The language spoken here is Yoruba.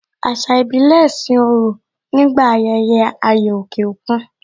Ẹ̀sà ìbílẹ̀ sin òrò nígbà ayẹyẹ ayò òkè òkun